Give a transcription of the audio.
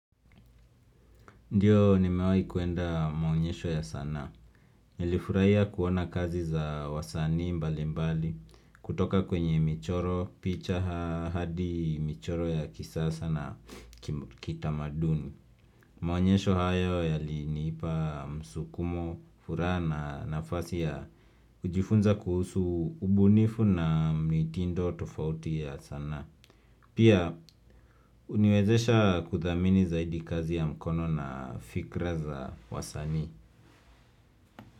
Ndiyo nimewai kuenda maonyesho ya sanaa. Nilifuraihia kuona kazi za wasani mbali mbali kutoka kwenye michoro, picha hadi michoro ya kisasa na kitamaduni. Maonyesho hayo yalinipa msukumo, furaha na nafasi ya kujifunza kuhusu ubunifu na mitindo tofauti ya sana. Pia uniwezesha kuthamini zaidi kazi ya mkono na fikra za wasanii.